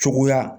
Cogoya